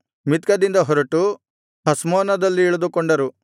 ಮಿತ್ಕದಿಂದ ಹೊರಟು ಹಷ್ಮೋನದಲ್ಲಿ ಇಳಿದುಕೊಂಡರು